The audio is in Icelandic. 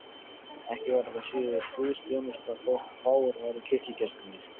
Ekki væri það síður guðsþjónusta þótt fáir væru kirkjugestirnir.